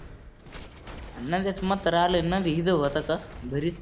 आणि नंद्याचं म्हातारं आलंय ना मी जेवत होता घरीच.